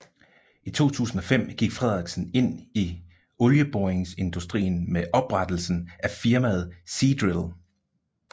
I 2005 gik Fredriksen ind i olieboringsindustrien med oprettelsen af firmaet Seadrill